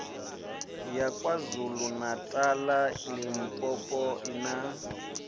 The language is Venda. ya kwazulu natala limpopo na